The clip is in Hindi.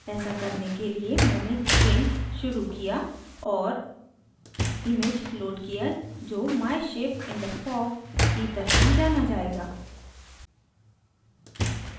ऐसा करने के लिए मैंने gimp शुरू किया और image load किया जो my ship in the fog की तरह जाना जायेगा